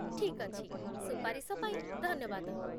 ଠିକ୍ ଅଛି, ସୁପାରିଶ ପାଇଁ ଧନ୍ୟବାଦ